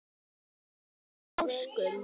annar í páskum